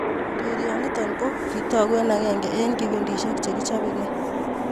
Urerionoto ko kitogu eng akenge eng kipintishe che kichobekei.